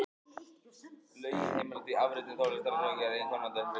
Lögin heimila því afritun tónlistar sé hún gerð til einkanota viðkomandi.